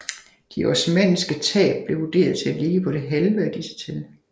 De osmanniske tab blev vurderet til at ligge på det halve af disse tal